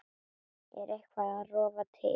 Er eitthvað að rofa til?